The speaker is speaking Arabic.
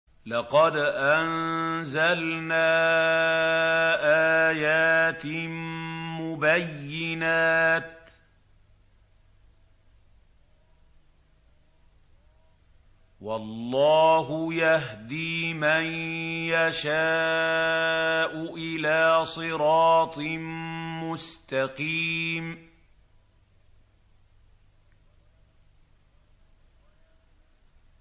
لَّقَدْ أَنزَلْنَا آيَاتٍ مُّبَيِّنَاتٍ ۚ وَاللَّهُ يَهْدِي مَن يَشَاءُ إِلَىٰ صِرَاطٍ مُّسْتَقِيمٍ